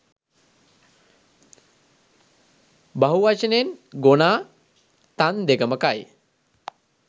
බහු වචනෙන් 'ගොනා තන් දෙකම කයි'